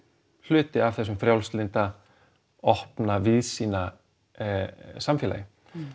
hluti af þessu frjálslynda opna víðsýna samfélagi